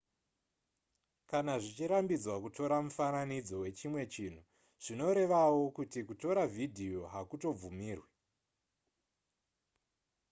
kana zvichirambidzwa kutora mufananidzo wechimwe chinhu zvinorevawo kuti kutora vhidhiyo hakutobvumirwe